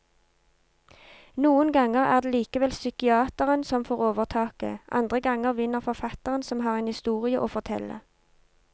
Noen ganger er det likevel psykiateren som får overtaket, andre ganger vinner forfatteren som har en historie å fortelle.